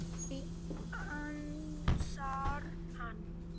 Nei, ansar hann.